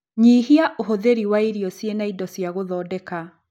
Nyihia ũhũthĩri wa irio ciĩna indo cia gũthondeka